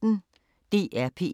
DR P1